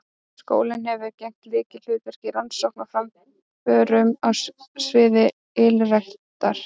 Skólinn hefur gegnt lykilhlutverki í rannsóknum og framförum á sviði ylræktar.